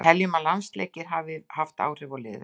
Við teljum að landsleikir hafi haft áhrif á liðið.